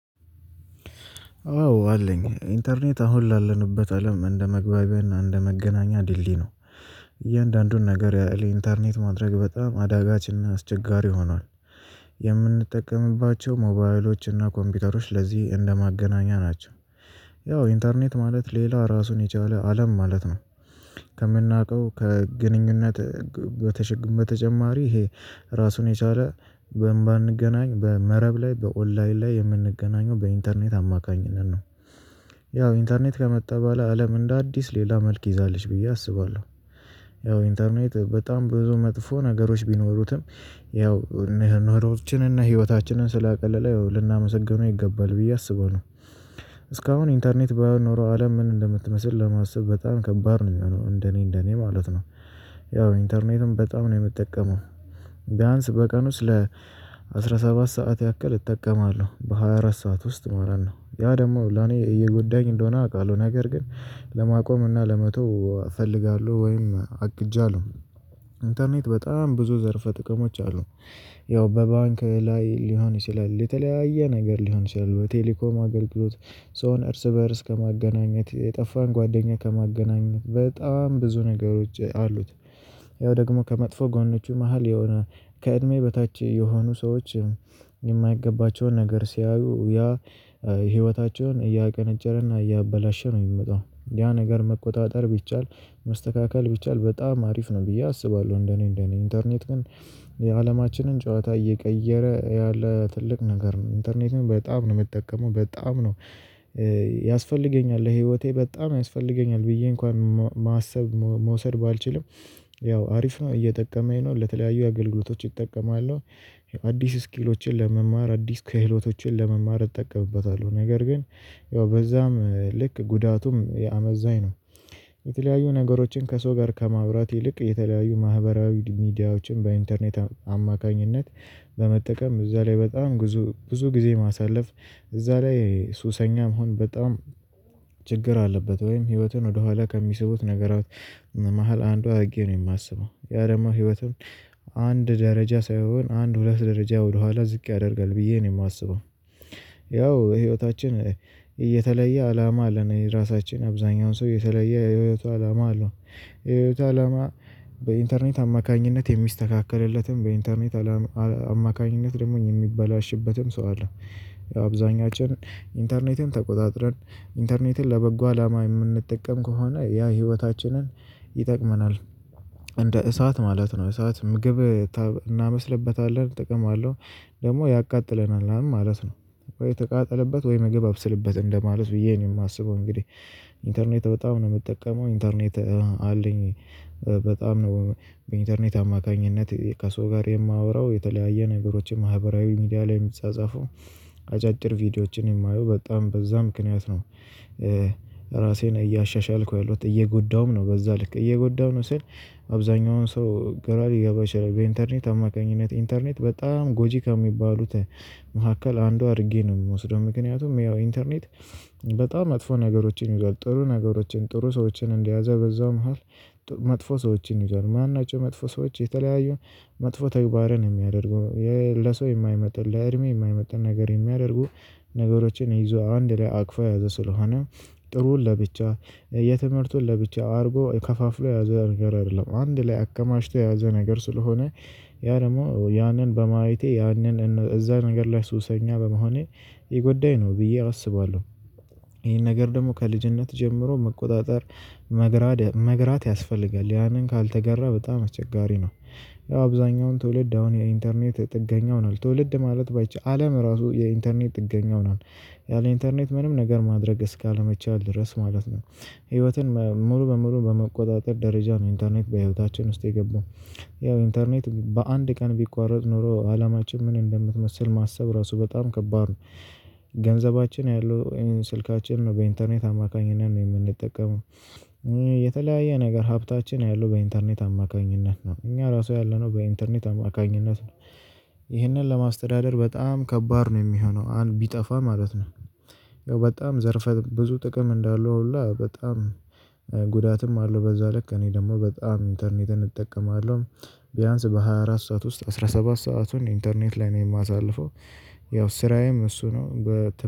አዎ አለኝ ኢንተርኔት አሁን ላለንበት አለም እንደመግባቢያው እንደመገናኛ ዲልድይ ነው። እያንዳንዱን ነገር ያለ ኢንተርኔት ማድረግ በጣም አዳጋችና አስቸጋሪ ሆኗል። የምንጠቀምባቸው ሞባይሎች እና ኮምፒውተሮች ለዚህ እንደማገናኛ ናቸው። ያው ኢንተርኔት ማለት ሌላ ራሱን የቻለ አለም ማለት ነው። ከምናውቀው ከግንኙነት በተጨማሪ ይሄ ራሱን የቻለ በማንገናኝ በመረብ ላይ በኦንላይን ላይ የምንገናኘው በኢንተርኔት አማካኝነት ነው። ያው ኢንተርኔት ከመጣ በኋላ አለም እንደ አዲስ ሌላ መልክ ይዛለች ብዬ አስባለሁ። ያው ኢንተርኔት በጣም ብዙ መጥፎ ነገሮች ቢኖሩትም ያው ኖሮችን እና ህይወታችንን ስላቀለለ ይው ልናመሰግነው ይገባል ብዬ አስባለው። እስካሁን ኢንተርኔት ባይኖረው አለም ምን እንደምትመስል ለማሰብ በጣም ከባድ ነው የሚሆነው እንደኔ እንደኔ ማለት ነው። ያው ኢንተርኔትም በጣም ነው የምጠቀመው። ቢያንስ በቀን ውስጥ ለ አስራ ሰባት ሰዓት ያክል እጠቀማለሁ በሃያ አራት ሰዓት ውስጥ ማለት ነው ያ ደግሞ ለኔ እየጎዳኝ እንደሆነ አውቃለሁ ነገር ግን ለማቆም እና ለመተው እፈልጋለሁ ወይም አቅጃለሁ። ኢንተርኔት በጣም ብዙ ዘርፈ ጥቅሞች አሉ። ያው በባንክ ላይ ሊሆን ይችላል የተለያየ ነገር ሊሆን ይችላል በቴሌኮም አገልግሎት ሶን እርስ በእርስ ከማገናኘት የጠፋን ጓደኛ ከማገናኘት በጣም ብዙ ነገሮች አሉት። ያው ደግሞ ከመጥፎ ጎኖቹ መሃል ከእድሜ በታች የሆኑ ሰዎች የማይገባቸውን ነገር ሲያዩ ያ ህይወታቸውን እያቀነጨረ እና እያበላሸ ነው የሚመጣው ያ ነገር መቆጣጠር ቢቻል መስተካከል ቢቻል በጣም አሪፍ ነው ብዬ አስባለሁ። እንደኔ እንደኔ ኢንተርኔት ግን የአለማችንን ጨዋታ እየቀየረ ያለ ትልቅ ነገር ኢንተርኔት በጣም ነው የምጠቀመው በጣም ነው። ያስፈልገኛል ለህይወቴ በጣም ያስፈልገኛል ብዬ እንኳን ማሰብ መውሰድ ባልችልም። ያው አሪፍ ነው እየጠቀመኝ ነው ለተለያዩ አገልግሎቶች እጠቀማለሁ። አዲስ ስኪሎችን ለመማር አዲስ ክህሎቶችን ለመማር እጠቀምበታለሁ። ነገር ግን ያው በዛም ልክ ጉዳቱም አመዛኝ ነው። የተለያዩ ነገሮችን ከሰው ጋር ከማውራት ይልቅ የተለያዩ ማህበራዊ ሚዲያዎችን በኢንተርኔት አማካኝነት በመጠቀም እዛ ላይ በጣም ብዙ ብዙ ጊዜ ማሳለፍ። እዛ ላይ ሱሰኛ መሆን በጣም ችግር አለበት። ወይም ህይወቱን ወደኋላ ከሚስቡት ነገራት መሃል አንዷ አድርጌ ነው የማስበው ያ ደግሞ ህይወቱን አንድ ደረጃ ሳይሆን አንድ ሁለት ደረጃ ወደኋላ ዝቅ ያደርጋል ብዬ ነው የማስበው። ያው ህይወታችን እየተለየ አላማ አለን የራሳችን አብዛኛውን ሰው የተለየ የህይወቱ አላማ አለው። የህይወቱ አላማ በኢንተርኔት አማካኝነት የሚስተካከለለትም በኢንተርኔት አማካኝነት ደግሞ የሚበላሽበትም ሰው አለ። ያው አብዛኛችን ኢንተርኔትን ተቆጣጥረን ኢንተርኔትን ለበጎ አላማ የምንጠቀም ከሆነ ያ ህይወታችንን ይጠቅመናል። እንደ እሳት ማለት ነው እሳት ምግብ እናብስልበታለን ጥቅም አለው። ደግሞ ያቃጥለናል ማለት ነው። የተቃጠለበት ወይ ምግብ አብስልበት እንደማለት ብዬ የማስበው እንግዲህ ኢንተርኔት በጣም ነው የምጠቀመው ኢንተርኔት አለኝ። ነው በኢንተርኔት አማካኝነት ከሰው ጋር የማወራው የተለያየ ነገሮችን ማህበራዊ ሚዲያ ላይ የሚጻጻፈው አጫጭር ቪዲዮዎችን የማየው በጣም በዛ ምክንያት ነው። ራሴን እያሻሻልኩ እየጎዳሁም ነው በዛ ልክ እየጎዳሁ ነው ስል አብዛኛውን ሰው ገራ ሊገባ ይችላል በኢንተርኔት አማካኝነት ኢንተርኔት በጣም ጎጂካ የሚባሉት መካከል አንዱ አድርጌ ነው የምወስደው። ምክንያቱም ያው ኢንተርኔት በጣም መጥፎ ነገሮችን ይዟል ጥሩ ነገሮችን ጥሩ ሰዎችን እንደያዘ በዛ መሃል መጥፎ ሰዎችን ይዘዎል ማን ናቸው? መጥፎ ሰዎች የተለያዩ መጥፎ ተግባርን የሚያደርገው። ለሰው የማይመጥን ለእድሜ የማይመጣ ነገር የሚያደርጉ ነገሮችን ይዞ አንድ ላይ አቅፋ የያዘ ስለሆነ። ጥሩን ለብቻ የትምህርቱን ለብቻ አድርጎ ከፋፍሎ ያዘ ነገር አይደለም አንድ ላይ አከማሽቶ ያዘ ነገር ስለሆነ። ያ ደግሞ ያንን በማየቴ ያንን እዛ ነገር ላይ ሱሰኛ በመሆኔ የጎዳኝ ነው ብዬ አስባለሁ። ይሄን ነገር ደግሞ ከልጅነት ጀምሮ መቆጣጠር መግራት መግራት ያስፈልጋል ያንን ካልተገራ በጣም አስቸጋሪ ነው። አብዛኛውን ትውልድ አሁን የኢንተርኔት ጥገኛ ሆኗል ትውልድ ማለት ባይቻል አለም ራሱ የኢንተርኔት ጥገኛ ሆኗል። ያለ ኢንተርኔት ምንም ነገር ማድረግ እስካለመቻል ድረስ ማለት ነው። ህይወትን ሙሉ በሙሉ በመቆጣጠር ደረጃ ነው ኢንተርኔት በህይወታችን ውስጥ የገባው። ያው ኢንተርኔት በአንድ ቀን ቢቋረጥ ኖሮ አላማችን ምን እንደምትመስል ማሰብ ራሱ በጣም ከባድ ነው። ገንዘባችን ያለው ስልካችን ነው በኢንተርኔት አማካኝነት ነው የምንጠቀመው። የተለያየ ነገር ሀብታችን ያሉ በኢንተርኔት አማካኝነት ነው እኛ ራሱ ያለነው በኢንተርኔት አማካኝነት ነው። ይህንን ለማስተዳደር በጣም ከባድ ነው የሚሆነው ቢጠፋ ማለት ነው። በጣም ዘርፈ ብዙ ጥቅም እንዳለው ሁላ በጣም ጉዳትም አለው በዛ ልክ እኔ ደግሞ በጣም ኢንተርኔትህን እጠቀማለሁ። ቢያንስ በሃያ አራት ሰዓት ውስጥ አስራ ሰባት ሰአቱን ኢንተርኔት ላይ ነው የማሳልፈው። ያው ስራዬም እሱ ነው በ